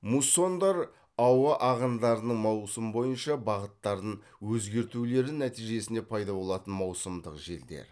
муссондар ауа ағындарының маусым бойынша бағыттарын өзгертулері нәтижесінде пайда болатын маусымдық желдер